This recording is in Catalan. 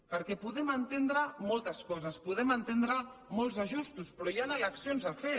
perquè podem entendre moltes coses podem entendre molts ajustos però hi han eleccions a fer